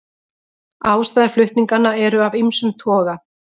Ástæður flutninganna eru af ýmsum toga